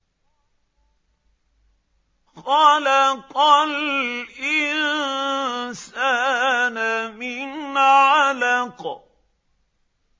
خَلَقَ الْإِنسَانَ مِنْ عَلَقٍ